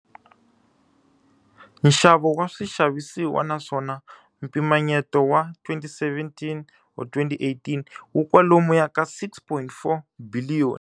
Nxavo wa swixavisiwa naswona mpimanyeto wa 2017 or 2018 wu kwalomuya ka R6.4 biliyoni.